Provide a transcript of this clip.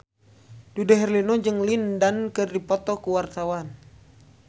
Dude Herlino jeung Lin Dan keur dipoto ku wartawan